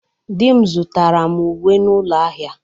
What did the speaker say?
Di m zụtara m uwe n'ụlọ ahịa.